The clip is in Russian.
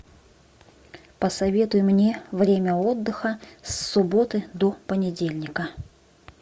посоветуй мне время отдыха с субботы до понедельника